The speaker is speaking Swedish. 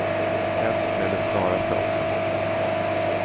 Helst med det snaraste också.